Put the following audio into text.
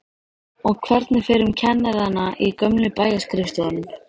Og hvernig fer um kennarana í gömlu bæjarskrifstofunum?